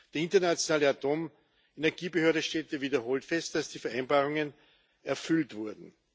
Die Internationale Atomenergiebehörde stellte wiederholt fest, dass die Vereinbarungen erfüllt wurden.